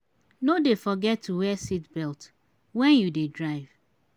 no dey forget to wear seat belt wen you dey drive.